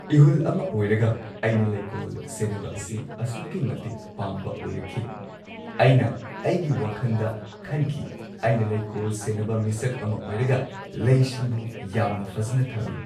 ꯏꯍꯨꯜ ꯑꯃ ꯑꯣꯏꯔꯒ ꯑꯩꯅ ꯂꯩꯀꯣꯜ ꯁꯦꯟꯅꯕ ꯑꯁꯤ ꯑꯁꯨꯛꯀꯤ ꯃꯇꯤꯛ ꯄꯥꯝꯕ ꯑꯣꯏꯔꯛꯈꯤ ꯑꯩꯅ ꯑꯩꯒꯤ ꯋꯥꯈꯟꯗ ꯈꯟꯈꯤ ꯑꯩꯅ ꯂꯩꯀꯣꯜ ꯁꯦꯟꯅꯕ ꯃꯤꯁꯛ ꯑꯃ ꯑꯣꯏꯔꯒ ꯂꯩꯁꯤꯡꯕꯨ ꯌꯥꯝꯅ ꯐꯖꯟꯅ ꯊꯝꯃꯤ꯫